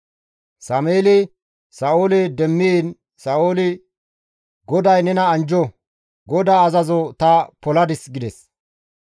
Sameeli Sa7oole demmiin Sa7ooli, «GODAY nena anjjo; GODAA azazo ta poladis» gides.